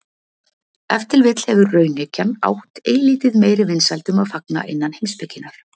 ef til vill hefur raunhyggjan átt eilítið meiri vinsældum að fagna innan heimspekinnar